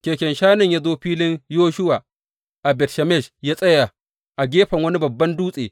Keken shanun ya zo filin Yoshuwa a Bet Shemesh ya tsaya a gefen wani babban dutse.